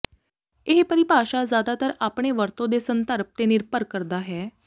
ਇਹ ਪਰਿਭਾਸ਼ਾ ਜ਼ਿਆਦਾਤਰ ਆਪਣੇ ਵਰਤੋਂ ਦੇ ਸੰਦਰਭ ਤੇ ਨਿਰਭਰ ਕਰਦਾ ਹੈ